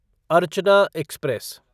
Archana express